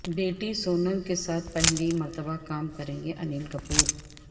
بیٹی سونم کے ساتھ پہلی مرتبہ کام کریں گے انل کپور